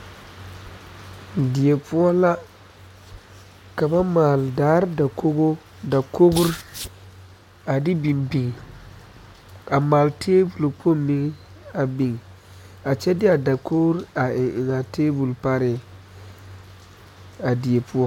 Die poɔ ka ba maale daara dakogi dakogri a de biŋ biŋ a maale taabol kpoŋ meŋ a biŋ a kyɛ de a dakogro a eŋ eŋaa taabol pareŋ a die poɔ